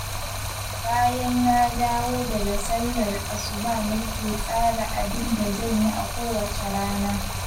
Bayan na dawo daga sallar Asuba nake tsara abin da zan yi a kowace rana